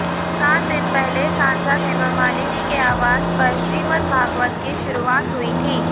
सात दिन पहले सांसद हेमामालिनी के आवास पर श्रीमद्भागवत की शुरूआत हुई थी